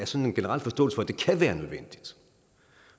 sådan en generel forståelse for at det kan være nødvendigt